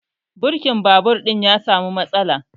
Birkin babur ɗin ya samu matsala